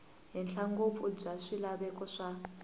henhla ngopfu bya swilaveko swa